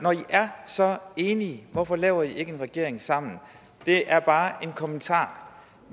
er så enige hvorfor laver i så ikke en regering sammen det er bare en kommentar